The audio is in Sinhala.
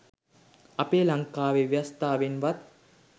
අපේ ලංකාවේ ව්‍යවස්තාවෙන් වත්